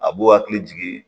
A b'u hakili jigin